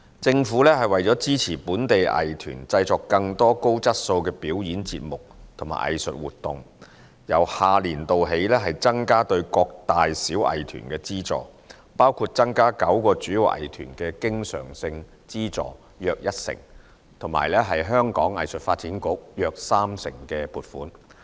政府為支持本地藝團製作更多高質素的表演節目和藝術活動，由下年度起增加對各大小藝團的資助，包括增加9個主要藝團的經常性資助約一成及香港藝術發展局約三成撥款。